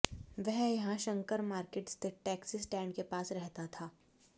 वह यहां शंकर माकिर्ट स्थित टैक्सी स्टैंड के पास रहता था